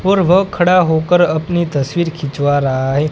और वह खड़ा होकर अपनी तस्वीर खिंचवा रहा है।